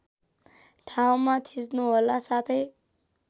ठाउँमा थिच्नुहोला साथै